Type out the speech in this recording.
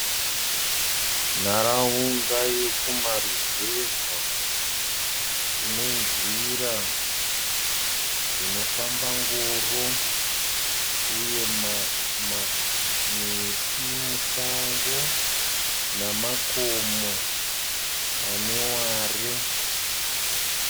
Nharaunda yekumaruzeva kune nzira dzinofamba ngoro uye miti musango, namakomo ane ruware.